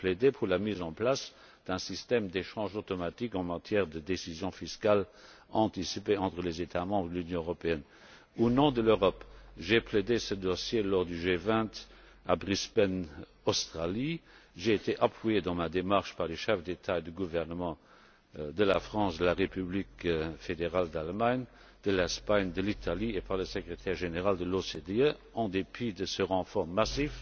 J'ai plaidé pour la mise en place d'un système d'échange automatique en matière de décisions fiscales anticipées entre les États membres de l'Union européenne. Au nom de l'Europe, j'ai défendu ce dossier lors du G20, à Brisbane, en Australie, et j'ai été appuyé dans ma démarche par les chefs d'État ou de gouvernement de la France, de la République fédérale d'Allemagne, d'Espagne, d'Italie et par le Secrétaire général de l'OCDE. En dépit de ce renfort